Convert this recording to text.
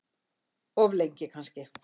Of lengi kannski.